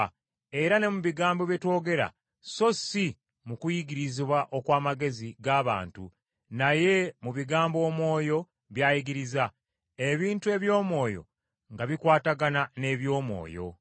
era ne mu bigambo bye twogera so si mu kuyigirizibwa okw’amagezi g’abantu, naye mu bigambo Omwoyo by’ayigiriza, ebintu eby’Omwoyo nga bikwatagana n’eby’Omwoyo.